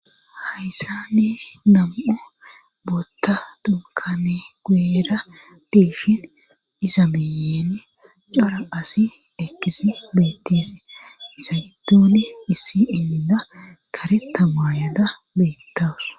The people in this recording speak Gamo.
Hayssa ne gam7u bootta dunkane guera dilfin iza miyeni cara asi ekkisi beettese sagitooni hisi inda karetamayada beettawus.